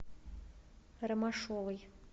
ромашовой